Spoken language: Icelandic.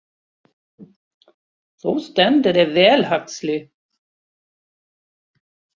Þú stendur þig vel, Huxley!